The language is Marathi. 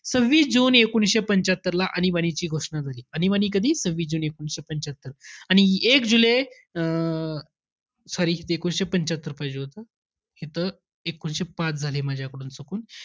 सव्हिस जून एकोणवीसशे पंच्यात्तरला, आणीबाणीची घोषणा झाली. आणीबाणी कधी? सव्हिस जुने एकोणवीसशे पंच्यात्तर आणि एक जुलै अं sorry एकोणवीसशे पंच्यात्तर पाहिजे होतं. इथं एकोणवीसशे पाच झालंय माझ्याकडून चुकून.